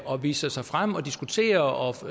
og viser sig frem og diskuterer og